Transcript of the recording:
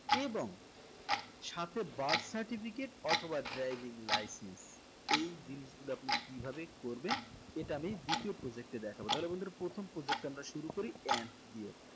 এবং সাথে birth certificate অথবা driving license এই জিনিসগুলো আপনি কিভাবে করবেন এটা আমি দ্বিতীয় project এ দেখাবো তাহলে বন্ধুরা প্রথম project টা আমরা শুরু করি and দিয়ে